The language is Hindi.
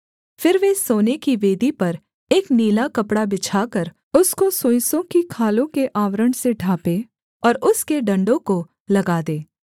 फिर वे सोने की वेदी पर एक नीला कपड़ा बिछाकर उसको सुइसों की खालों के आवरण से ढाँपें और उसके डण्डों को लगा दें